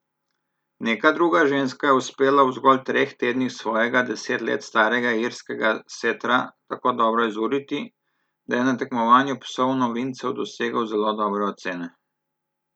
Neka druga ženska je uspela v zgolj treh tednih svojega deset let starega irskega setra tako dobro izuriti, da je na tekmovanju psov novincev dosegel zelo dobre ocene.